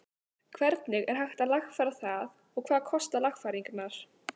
Hvernig er hægt að lagfæra það og hvað kosta lagfæringarnar?